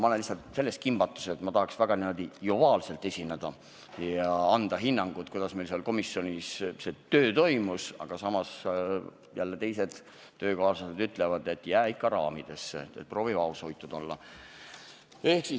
Ma olen lihtsalt kimbatuses – tahaks niimoodi joviaalselt esineda ja anda hinnangu, kuidas meil seal komisjonis töö toimus, samas töökaaslased ütlevad, et jää ikka raamidesse, proovi olla vaoshoitud.